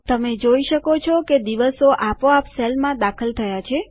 તમે જોઈ શકો છો કે દિવસો આપોઆપ સેલમાં દાખલ થયા છે